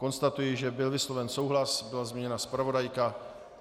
Konstatuji, že byl vysloven souhlas, byla změněna zpravodajka.